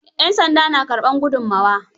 Yan sanda na karɓar gudunmawa?